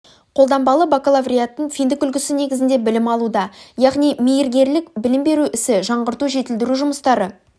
қолданбалы бакалавриаттың финдік үлгісі негізінде білім алуда яғни мейіргерлік білім беру ісін жаңғырту жетілдіру жұмыстары